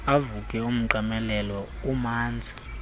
avuke umqamelelo umanzi